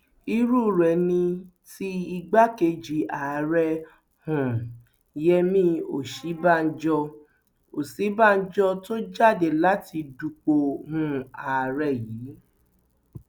irú rẹ ni ti igbákejì ààrẹ um yẹmi òsínbàjò òsínbàjò tó jáde láti dupò um ààrẹ yìí